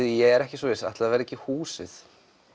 ég er ekki svo viss en ætli það verði ekki húsið